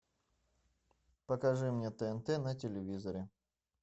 покажи мне тнт на телевизоре